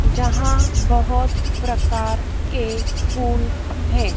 जहां बहोत प्रकार के फूल है।